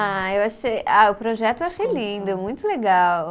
Ah, eu achei, ah o projeto eu achei lindo, muito legal.